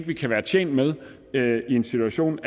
vi kan være tjent med en situation